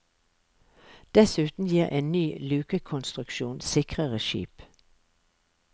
Dessuten gir en ny lukekonstruksjon sikrere skip.